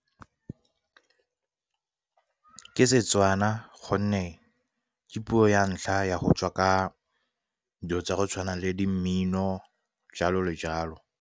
Ke Setswana gonne ke puo ya ntlha ya go tswa ka dilo tsa go tshwana le di mmino jalo le jalo.